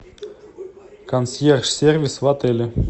консьерж сервис в отеле